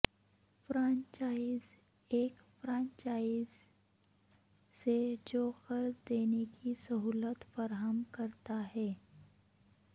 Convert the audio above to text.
franchise ایک franchiser سے جو قرض دینے کی سہولت فراہم کرتا ہے